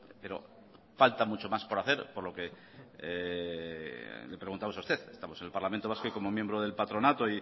pero falta mucho más por hacer por lo que le preguntamos a usted estamos en el parlamento vasco y como miembro del patronato